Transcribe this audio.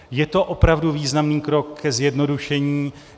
Je to opravdu významný krok ke zjednodušení.